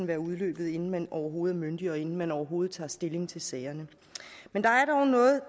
være udløbet inden man overhovedet er myndig og inden man overhovedet tager stilling til sagerne men der er dog noget